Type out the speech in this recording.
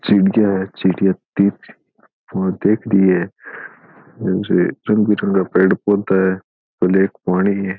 चिड़िया है चिड़िया पौधे भी है और रंग बिरंगा पेड़ पौधा है और पानी है।